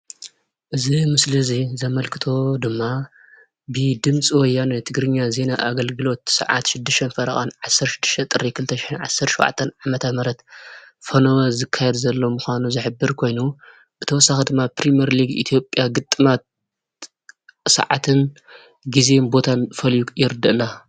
እዚ ምስሊ እዚ ዘመልክቶ ድማ ብድምፂ ወያነ ትግርኛ ዜና ኣገልግሎት ስዓት 6:30 16/05/2017ዓ/ም ፈነወ ዝካየድ ዘሎ ምኳኑ ዝሕብር ኮይኑ ብተወሳኺ ድማ ፕሪሜርሊግ ኢትዮጵያ ግጥማት ስዓትን ግዜን ቦታን ፈልዩ የርድአና።